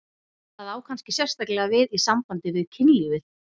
Það á kannski sérstaklega við í sambandi við kynlífið.